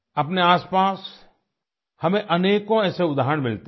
अपने आस पास हमें अनेकों ऐसे उदाहरण मिलते हैं